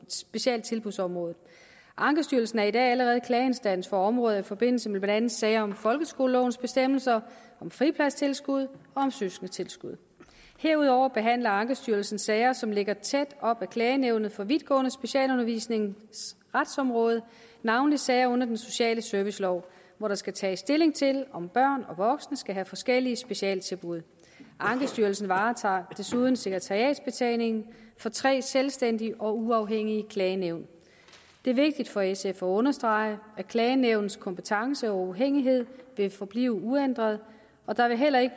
specialtilbudsområdet ankestyrelsen er i dag allerede klageinstans for områder i forbindelse med blandt andet sager om folkeskolelovens bestemmelser om fripladstilskud og om søskendetilskud herudover behandler ankestyrelsen sager som ligger tæt op ad klagenævnet for vidtgående specialundervisnings retsområde navnlig sager under den sociale servicelov hvor der skal tages stilling til om børn og voksne skal have forskellige specialtilbud ankestyrelsen varetager desuden sekretariatsbetjeningen for tre selvstændige og uafhængige klagenævn det er vigtigt for sf at understrege at klagenævnets kompetence og uafhængighed vil forblive uændret og der vil heller ikke